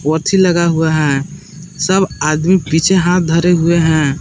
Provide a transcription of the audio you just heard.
लगा हुआ है सब आदमी पीछे हाथ धरे हुए हैं।